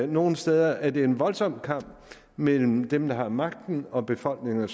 nogle steder er det en voldsom kamp mellem dem der har magten og befolkningerne